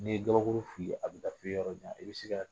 Ne ye gabakuru fili a be taa fɔ yɔrɔ jan i bɛ se ka